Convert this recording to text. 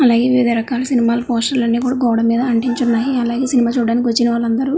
లాగాగే వివిధ రకాల cinema poster అన్ని కుడా గోడ మీద అంటించి ఉనాయి అలాగే సినిమా చూడడానికి వచ్చినవాళ్లు అందరు--